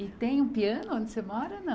E tem um piano onde você mora ou não?